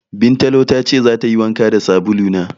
Bintalo ta ce zata yi wanka da sabulu na.